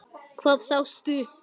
Hvað sástu?